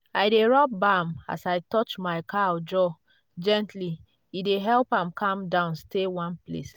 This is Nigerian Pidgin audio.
i dey rub balm as i touch my cow jaw gently—e dey help am calm down stay one place.